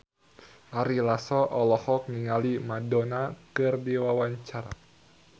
Ari Lasso olohok ningali Madonna keur diwawancara